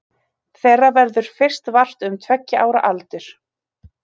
Þeirra verður fyrst vart um tveggja ára aldur.